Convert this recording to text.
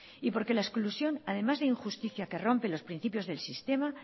y porque la exclusión además de injusticia que rompe los principios del sistema